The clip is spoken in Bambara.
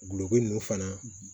Gulɔko ninnu fana